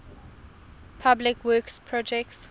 public works projects